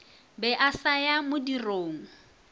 be a sa ya modirong